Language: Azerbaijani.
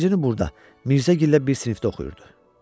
Yeddinci burda Mirzəgilə bir sinifdə oxuyurdu.